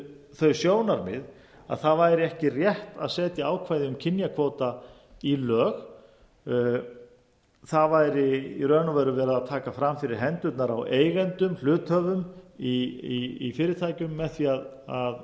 þau sjónarmið að það væri ekki rétt að setja ákvæði um kynjakvóta í lög það væri í raun og veru verið að taka fram fyrir hendurnar á eigendum hluthöfum í fyrirtækjum á því að